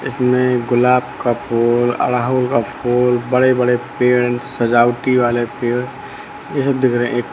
इसमें गुलाब का फूल अड़हुल का फूल बड़े बड़े पेड़ सजावटी वाले पेड़ ये सब दिख रहे--